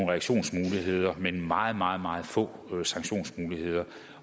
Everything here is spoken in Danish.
reaktionsmuligheder men meget meget meget få sanktionsmuligheder